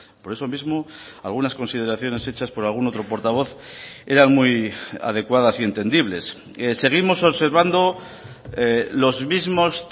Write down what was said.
por eso mismo algunas consideraciones hechas por algún otro portavoz eran muy adecuadas y entendibles seguimos observando los mismos